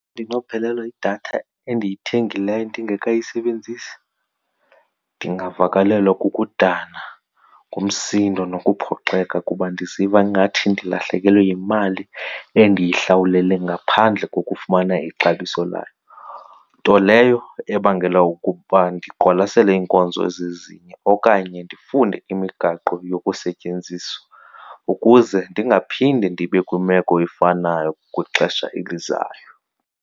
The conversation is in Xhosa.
Ndinophelelwa yidatha endiyithengileyo ndingekayisebenzisi, ndingavakalelwa kukudana, ngumsindo nokuphoxeka kuba ndiziva ngathi ndilahlekelwe yimali endiyihlawulele ngaphandle kokufumana ixabiso layo. Nto leyo ebangela okokuba ndiqwalasele iinkonzo ezizezinye okanye ndifunde imigaqo yokusetyenziswa ukuze ndingaphinde ndibe kwimeko efanayo kwixesha elizayo.